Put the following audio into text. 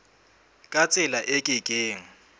ka tsela e ke keng